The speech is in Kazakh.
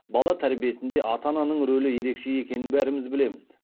бала тәрбиесінде ата ананың рөлі ерекше екенін бәріміз білеміз